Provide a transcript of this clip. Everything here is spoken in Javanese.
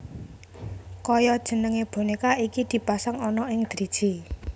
Kaya jenenge boneka iki dipasang ana ing driji